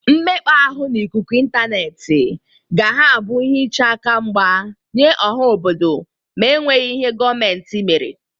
Mmekpa ahụ n'ikuku ịntaneetị ga ha abụ ihe iche aka mgba nye ọha obodo ma enweghi ihe gọmentị mere.